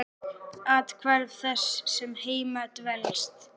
Athvarf þess sem heima dvelst.